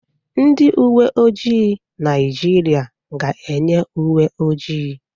Ndị uwe ojii Naịjirịa ga-eyi uwe ojii.